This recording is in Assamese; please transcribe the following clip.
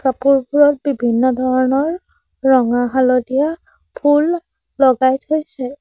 ফুলবোৰত বিভিন্ন ধৰণৰ ৰঙা হালধীয়া ফুল লগাই থৈছে।